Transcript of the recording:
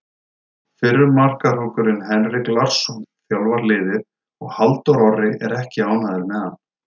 Fyrrum markahrókurinn Henrik Larsson þjálfar liðið og Halldór Orri er ekki ánægður með hann.